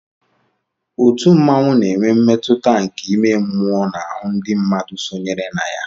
òtù mmanwu na-enwe mmetụta nke ime mmụọ n'ahụ ndị mmadụ sónyeere na ya